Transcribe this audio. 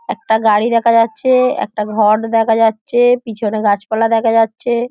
একটা গাড়ি দেখা যাচ্ছে একটা ঘট্ দেখা যাচ্ছে পিছনে গাছপালা দেখা যাচ্ছে।